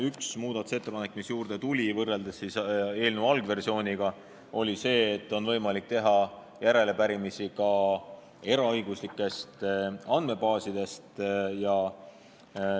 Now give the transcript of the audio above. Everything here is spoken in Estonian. Üks muudatus, mis võrreldes eelnõu algversiooniga juurde tuli, oli see, et on võimalik teha järelepärimisi ka eraõiguslikest andmebaasidest.